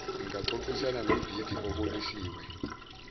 ingaxoxisana nombhidi obonisiwe